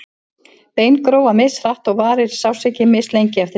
bein gróa mishratt og varir sársauki mislengi eftir því